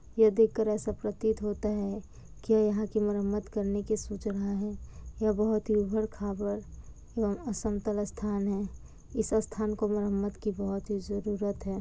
यह देखकर ऐसा प्रतीत होता है कि यहाँ की मरम्मत करने की सोच रहा है। यह बहुत ही उबर-खाबर यह असमतल स्थान है। इस स्थान को मरम्मत की बहुत ही जरूरत है।